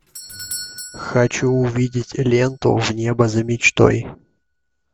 хочу увидеть ленту в небо за мечтой